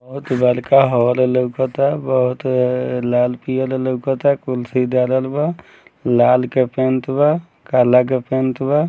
बहुत बड़का हॉल लउकता बहुत लाल-पियर लउकता कुर्सी डालल बा लाल के पैंट बा काला के पैंट बा।